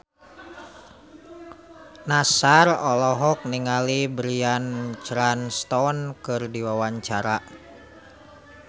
Nassar olohok ningali Bryan Cranston keur diwawancara